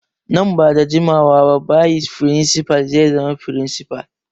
Nan ba da jimawa ba bayis firinsifal zai zama firinsifal.